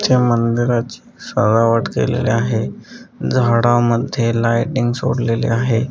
च्या मंदिराची सजावट केलेली आहे झाडं मध्ये लायटिंग सोडलेली आहे.